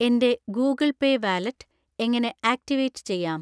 എൻ്റെ Google pay wallet എങ്ങനെ activate ചെയ്യാം